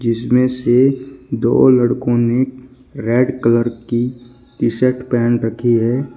इसमें से दो लड़कों ने रेड कलर की टी शर्ट पेहन रखी है।